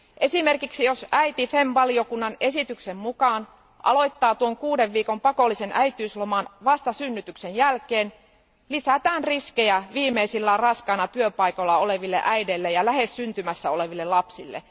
Esimerkiksi jos äiti FEMM valiokunnan esityksen mukaan aloittaa tuon kuuden viikon pakollisen äitiysloman vasta synnytyksen jälkeen, lisätään riskejä viimeisillään raskaana työpaikoilla oleville äideille ja lähes syntymässä oleville lapsille.